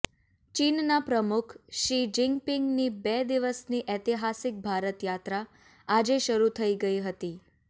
ચીનના પ્રમુખ શી જિનપિંગની બે દિવસની ઐતિહાસિક ભારત યાત્રા આજે શરૂ થઇ ગઇ હતી